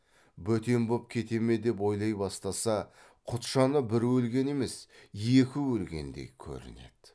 бөтен боп кете ме деп ойлай бастаса құтжаны бір өлген емес екі өлгендей көрінеді